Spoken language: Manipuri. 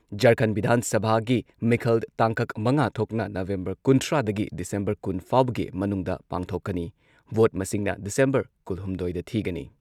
ꯓꯔꯈꯟꯗ ꯚꯤꯙꯥꯟ ꯁꯚꯥꯒꯤ ꯃꯤꯈꯜ ꯇꯥꯡꯀꯛ ꯃꯉꯥ ꯊꯣꯛꯅ ꯅꯕꯦꯝꯕꯔ ꯀꯨꯟꯊ꯭ꯔꯥꯗꯒꯤ ꯗꯤꯁꯦꯝꯕꯔ ꯀꯨꯟ ꯐꯥꯎꯕꯒꯤ ꯃꯅꯨꯡꯗ ꯄꯥꯡꯊꯣꯛꯀꯅꯤ꯫ ꯚꯣꯠ ꯃꯁꯤꯡꯅ ꯗꯤꯁꯦꯝꯕꯔ ꯀꯨꯜꯍꯨꯝꯗꯣꯢꯗ ꯊꯤꯒꯅꯤ꯫